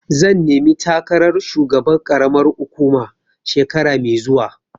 Zan nemi takarar shugaban ƙaramar hukuma shekara mai zuwa.